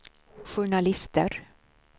journalister